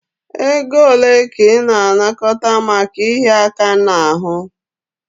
Ego ole ka ị na-anakọta maka ịhịa aka n'ahụ?